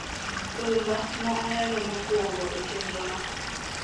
Rhumba ma ahero mokwongo e chenrono